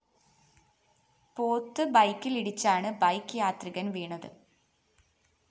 പോത്ത് ബെക്കിലിടിച്ചാണ് ബൈക്ക് യാത്രികന്‍ വീണത്